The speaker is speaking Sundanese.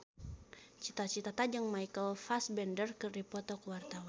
Cita Citata jeung Michael Fassbender keur dipoto ku wartawan